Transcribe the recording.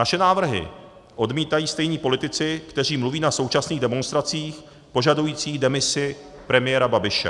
Naše návrhy odmítají stejní politici, kteří mluví na současných demonstracích požadujících demisi premiéra Babiše.